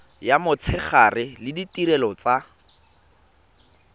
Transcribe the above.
ya motshegare le ditirelo tsa